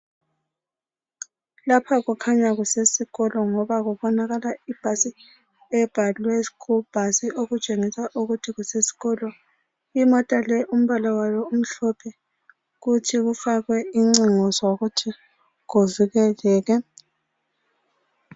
Lapha kukhanya kusesikolo ngoba kubonakala ibhasi ebhalwe ischool bus okutshengisa ukuba kusesikolo. Imota le umbala wayo umhlophe kutsho ufakwe incingo zokuthi kuvikelwe.